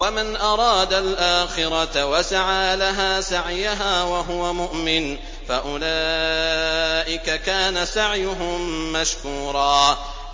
وَمَنْ أَرَادَ الْآخِرَةَ وَسَعَىٰ لَهَا سَعْيَهَا وَهُوَ مُؤْمِنٌ فَأُولَٰئِكَ كَانَ سَعْيُهُم مَّشْكُورًا